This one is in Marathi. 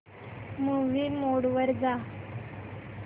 मूवी मोड वर जा